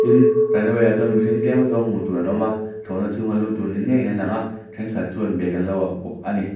tin runway ah chuan mihring tlem azawng hmuh tur an awm a thlawhna chung a lut tur ni ngeiin an lang a thenkhat chuan bag an lo ak bawk a ni.